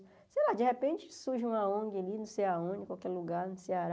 Sei lá, de repente surge uma ong ali, não sei aonde, em qualquer lugar, no Ceará,